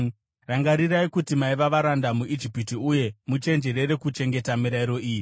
Rangarirai kuti maiva varanda muIjipiti, uye muchenjerere kuchengeta mirayiro iyi.